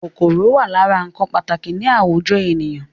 Kòkòrò wà lára ǹkan pàtàkì ni àwùjọ ènìyàn